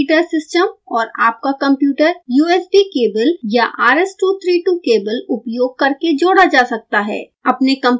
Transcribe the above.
single board heater system और आपका computer usb cable या rs232 केबल उपयोग करके जोड़ा जा सकता है